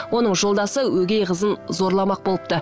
оның жолдасы өгей қызын зорламақ болыпты